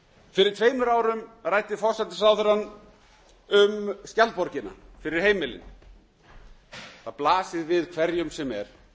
fyrir tveimur árum ræddi forsætisráðherrann um skjaldborgina fyrir heimilin það blasir við hverjum sem er